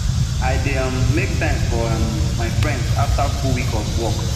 i dey um make time for um my friends after full week of work